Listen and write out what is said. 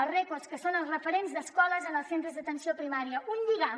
els recos que són els referents d’escoles als centres d’atenció primària un lligam